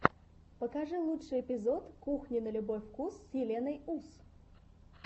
покажи лучший эпизод кухни на любой вкус с еленой ус